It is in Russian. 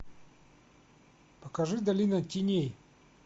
покажи долина теней